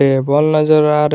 table नजर आ रहे--